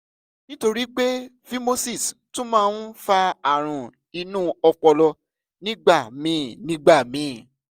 nítorí pé phimosis tún máa ń fa àrùn inú ọpọlọ nígbà míì nígbà míì